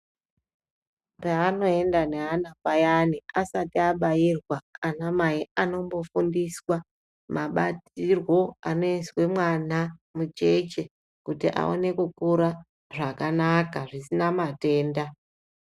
Peanoenda neana payani asati abairwa, anamai anombofundiswa mabatirwo anoizwe mwana mucheche kuti aone kukura zvakanaka, zvisina matenda.